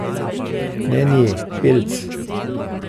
Ne nje, pelc.